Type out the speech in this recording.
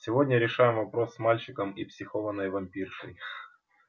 сегодня решаем вопрос с мальчиком и психованной вампиршей